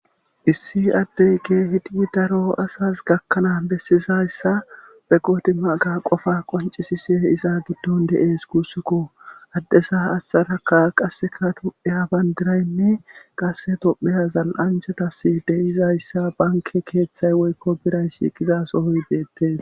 issi addey ke hidii daro asas gakkanaa bessizayssa be qode maaga qofa qonci sise iza giddon dees kuussekko addesa assaraka qasseka topheya bandiraynne qasse topheya zal7anchatasi deyizayssa banke keeththay woykko biray shiiqizasohoy beettes